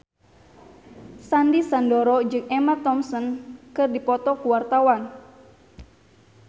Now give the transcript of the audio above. Sandy Sandoro jeung Emma Thompson keur dipoto ku wartawan